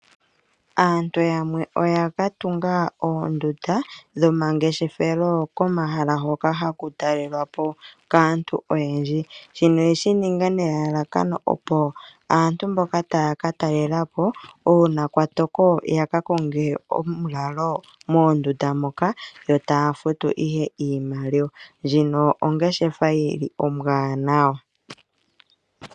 Aantu yamwe oya ka tunga oondunda dhomangeshefelo komahala ngoka haku talelwa po kaantu oyendji. Shino oye shi ninga nelalakano opo aantu mboka taa ka talela po uuna kwa toko ya ka konge omulalo moondunda moka, yo taa futu ihe iimaliwa. Ndjino ongeshefa ombwaanawa.